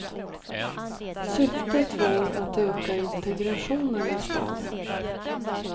Syftet var att öka integrationen i staden.